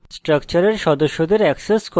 স্ট্রাকচারের সদস্যদের অ্যাক্সেস করা